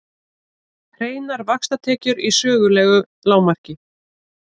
Hreinar vaxtatekjur í sögulegu lágmarki